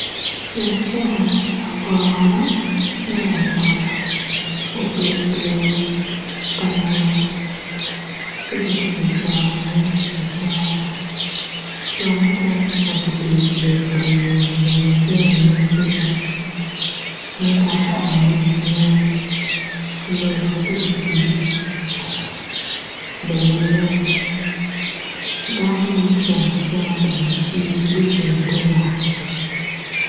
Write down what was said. Laco lagoro malangolo obedo i lela pa lungolo ci gitye ka coro ne acora jo mukene magubedo i lela pa lungolo bene tye anyim kuca, mutoka aryo ne, lela pikipiki bene nen, dano mucung acunga bene tye gucung i ter yat.